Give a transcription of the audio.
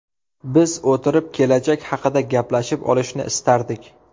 Biz o‘tirib, kelajak haqida gaplashib olishni istardik.